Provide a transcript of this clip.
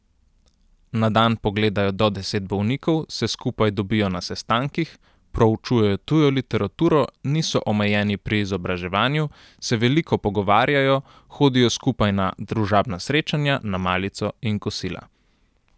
Na dan pogledajo do deset bolnikov, se skupaj dobijo na sestankih, proučujejo tujo literaturo, niso omejeni pri izobraževanju, se veliko pogovarjajo, hodijo skupaj na družabna srečanja, na malico in kosila.